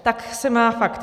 Tak se má fakt.